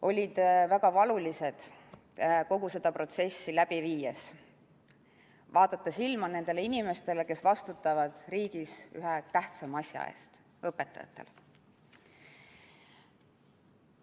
Oli väga valuline kogu seda protsessi läbi viies vaadata silma nendele inimestele, kes vastutavad riigis ühe tähtsaima asja eest, ehk õpetajatele.